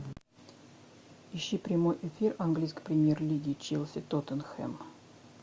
ищи прямой эфир английской премьер лиги челси тоттенхэм